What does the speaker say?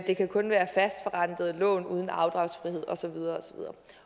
det kan kun være fastforrentede lån uden afdragsfrihed og så videre